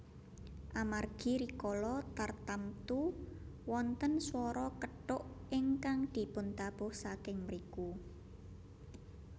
Amargi rikala tartamtu wonten swara kethuk ingkang dipuntabuh saking mriku